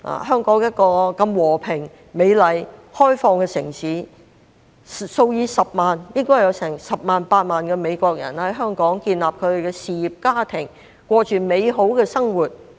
香港是一個如此和平、美麗、開放的城市，應該有10萬、8萬美國人在香港建立事業、家庭，過着美好的生活。